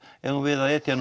eigum við að etja